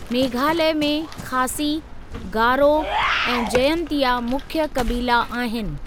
मेघालय में खासी, गारो ऐं जयंतिया मुख्य कबीला आहिनि।